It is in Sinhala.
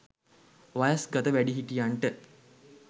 වයස්ගත වැඩිහිටියන්ට